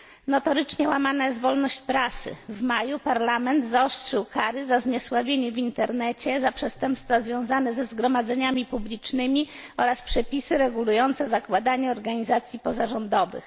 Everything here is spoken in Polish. Notorycznie łamana jest wolność prasy, w maju parlament zaostrzył kary za zniesławienie w internecie, za przestępstwa związane ze zgromadzeniami publicznymi oraz przepisy regulujące zakładanie organizacji pozarządowych.